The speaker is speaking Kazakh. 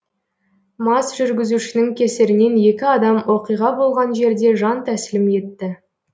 мас жүргізушінің кесірінен екі адам оқиға болған жерде жан тәсілім етті